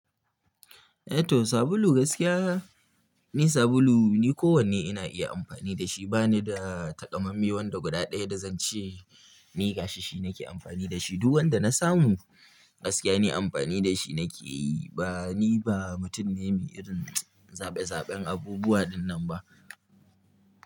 Eh to sabulu gaskiya ni sabulu ni kowane ina iya amfani da shi bani da takammami wanda guda ɗaya da zan ce ni hashi shi nake amfani da shi duk wanda na samu gaskiya ni amfani da shi nake yi ba ni ba mutum ne mai irin zaɓe zaɓen abubuwa ɗinnan ba.